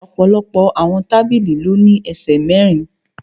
Ọ̀pọ̀lọpọ̀ àwọn tábìlì ló ní ẹsẹ̀ mẹ́rin